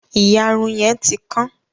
Ìyàrun yẹn ti kán.